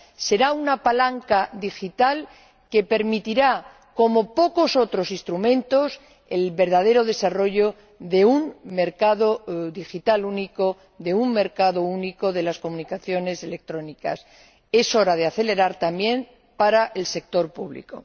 Será una palanca digital que permitirá, como pocos otros instrumentos, el verdadero desarrollo de un mercado digital único, de un mercado único de las comunicaciones electrónicas. Ha llegado la hora de pisar el acelerador también para el sector público.